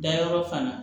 Dayɔrɔ fana